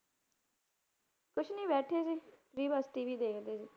ਕੁਛ ਨੀ ਬੈਠੀ ਸੀ free ਬਸ TV ਦੇਖਦੇ ਸੀ।